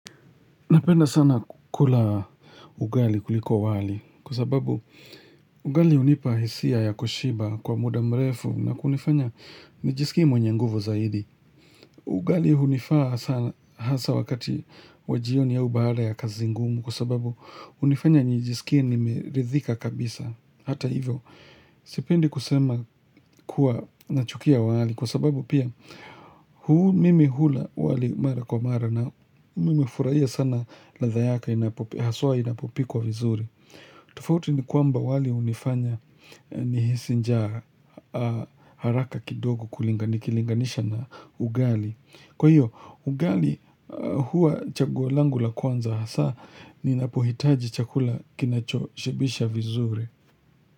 Napenda sana kula ugali kuliko wali kwa sababu ugali hunipa hisia ya kushiba kwa muda mrefu na kunifanya nijisikie mwenye nguvu zaidi. Ugali hunifaa sana hasa wakati wa jioni au baada ya kazi ngumu kwa sababu hunifanya nijisikie nimeridhika kabisa. Hata hivyo, sipendi kusema kuwa nachukia wali kwa sababu pia mimi hula wali mara kwa mara na mimi hufurahia sana ladha yake, haswa inapopikwa vizuri. Tofauti ni kwamba wali hunifanya nihisi njaa haraka kidogo nikilinganisha na ugali. Kwa hiyo, ugali huwa chaguo langu la kwanza hasa ninapohitaji chakula kinacho shibisha vizuri.